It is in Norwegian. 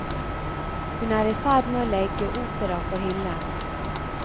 Hun er i ferd med å legge opera på hyllen.